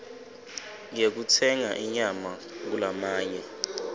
yekutsenga inyama kulamanye